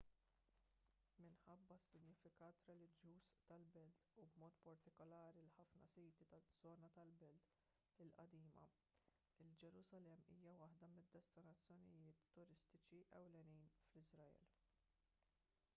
minħabba s-sinifikat reliġjuż tal-belt u b'mod partikolari l-ħafna siti taż-żona tal-belt il-qadima il-ġerusalemm hija waħda mid-destinazzjonijiet turistiċi ewlenin fl-iżrael